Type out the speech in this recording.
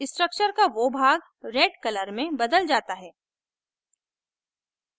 structure का वो भाग red color में बदल जाता है